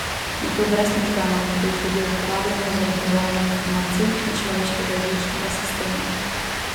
In to brez možganov, ki jih ljudje uporabljamo za obdelavo informacij, in človeškega živčnega sistema.